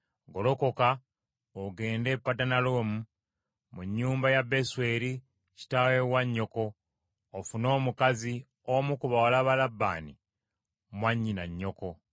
Golokoka ogende e Padanalaamu mu nnyumba ya Besweri kitaawe wa nnyoko, ofune omukazi omu ku bawala ba Labbaani mwannyina nnyoko.